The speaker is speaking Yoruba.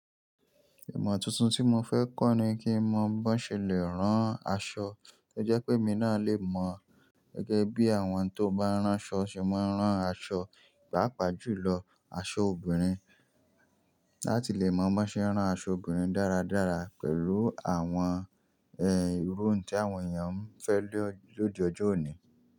Ìmọ̀ tuntun tí mo fẹ́ kọ́ ni kí mo mọ bọ ṣe lè rán aṣọ, ó jẹ́ pé mi náà lè mọ gẹ́gẹ́ bí àwọn tó bá ránṣọ ṣe máa ń rán aṣọ, pàápàá jùlọ aṣọ obìnrin. Láti lè mọ bí ṣe ń rán aṣọ obìnrin dáradára pẹ̀lú àwọn, ehn, irú n tí àwọn ènìyàn ń fẹ́ lòdì ọjọ́ òní.